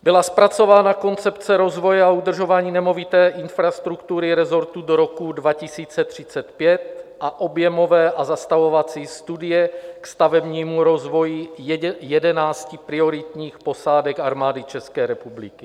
Byla zpracována koncepce rozvoje a udržování nemovité infrastruktury resortu do roku 2035 a objemové a zastavovací studie k stavebnímu rozvoji jedenácti prioritních posádek Armády České republiky.